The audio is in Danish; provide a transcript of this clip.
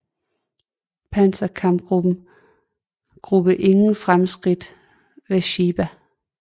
Panzer kampgruppe ingen fremskridt ved Sbiba